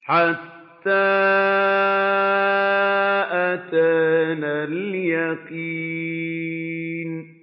حَتَّىٰ أَتَانَا الْيَقِينُ